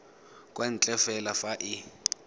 kwa ntle fela fa e